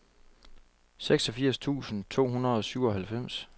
seksogfirs tusind to hundrede og syvoghalvfems